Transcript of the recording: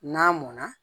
N'a mɔnna